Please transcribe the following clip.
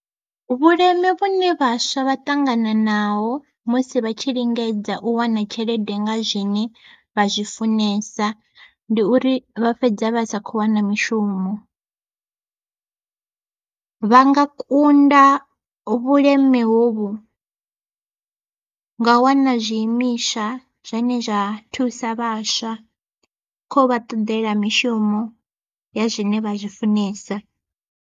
Vhuleme vhune vhaswa vha ṱangana naho musi vha tshi lingedza u wana tshelede nga zwine vha zwi funesa, ndi uri vha fhedza vha sa khou wana mishumo. Vha nga kunda vhuleme hovhu ngau wana zwiimiswa zwane zwa thusa vhaswa kho vha ṱoḓela mishumo ya zwine vha zwi funesa.